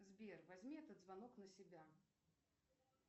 сбер возьми этот звонок на себя